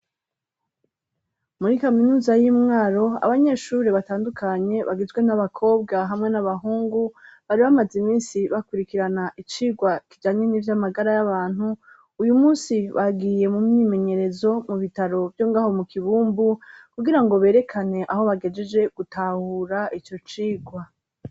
Muri kaminuza y'imwaro abanyeshure batandukanye bagizwe n'abakobwa hamwe n'abahungu bari bamaze iminsi bakurikirana icigwa kijanye n'ivy'amagara y'abantu uyumunsi bagiye mumyimenyerezo mubitaro vyo ngaho mukibumbu kugira ngo berekane aho bagejeje gutahura iyocigwa.